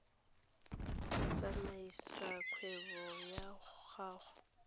go tsamaisa kgwebo ya gago